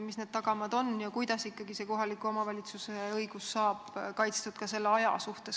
Mis need tagamaad on ja kuidas ikkagi see kohaliku omavalitsuse õigus saab kaitstud ka selle aja mõttes?